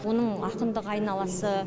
оның ақындық айналасы